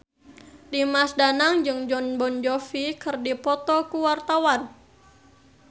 Dimas Danang jeung Jon Bon Jovi keur dipoto ku wartawan